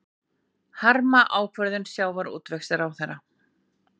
Harma ákvörðun sjávarútvegsráðherra